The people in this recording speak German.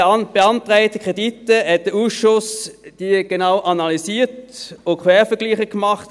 Die Bandbreite der Kredite hat der Ausschuss genau analysiert und Quervergleiche gemacht.